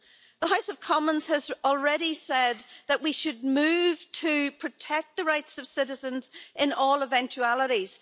The House of Commons has already said that we should move to protect the rights of citizens in all eventualities.